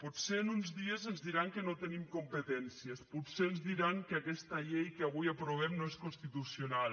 potser en uns dies ens diran que no tenim competències potser ens diran que aquesta llei que avui aprovem no és constitucional